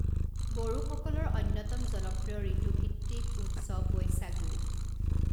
বড়োসকলৰ অন্যতম জনপ্ৰিয় ঋতুভিত্তিক উৎসৱ বৈশাগু।